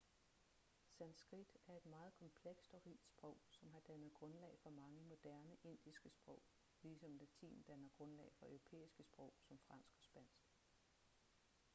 sanskrit er et meget komplekst og rigt sprog som har dannet grundlag for mange moderne indiske sprog ligesom latin danner grundlag for europæiske sprog som fransk og spansk